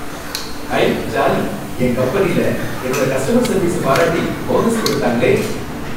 ஐ jolly! என் கம்பெனில என்னோட கஸ்டமர் சர்வீஸ பாராட்டி போனஸ் கொடுத்தாங்களே!